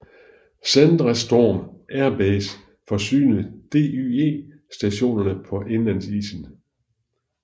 Sondrestrom Air Base forsynede DYE stationerne på indlandsisen